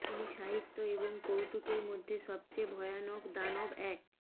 তিনি সাহিত্য এবং কৌতুকের মধ্যে সবচেয়ে ভয়ানক দানব এক